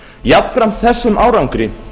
jafnframt þessum árangri